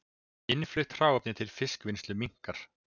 Innflutt hráefni til fiskvinnslu minnkar